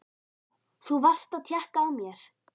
Þú varst að tékka á mér!